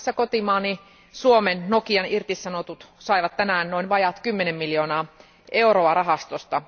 Muun muassa kotimaani Suomen Nokian irtisanotut saivat tänään noin vajaat kymmenen miljoonaa euroa rahastosta.